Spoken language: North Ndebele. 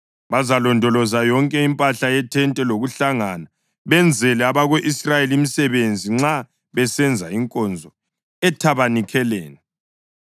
Bazalondoloza yonke impahla yethente lokuhlangana, benzele abako-Israyeli imisebenzi nxa besenza inkonzo ethabanikeleni.